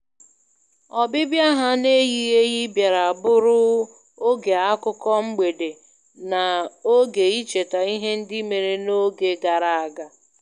Ọbịbịa ha n'eyighi eyi bịara bụrụ oge akụkọ mgbede na ógè icheta ihe ndị mere n'oge gara aga.